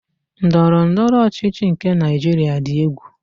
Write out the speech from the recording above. Ndọrọndọrọ ọchịchị nke Naịjiria dị egwu.